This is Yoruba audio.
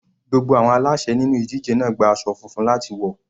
Gbogbo àwọn aláṣè nínú ìdíje náà gba aṣọ funfun láti wọ̀.